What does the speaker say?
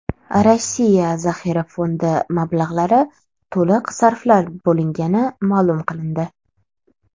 Rossiya zaxira fondi mablag‘lari to‘liq sarflab bo‘lingani ma’lum qilindi.